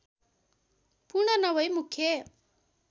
पूर्ण नभै मुख्य